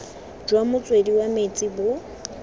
jwa motswedi wa metsi bo